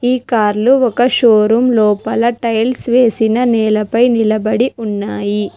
ఈ కార్లు ఒక షోరూం లోపల టైల్స్ వేసిన నేలపై నిలబడి ఉన్నాయి.